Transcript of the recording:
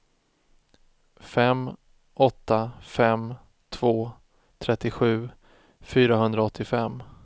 fem åtta fem två trettiosju fyrahundraåttiofem